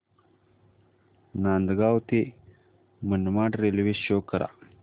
नांदगाव ते Manmad railway show करा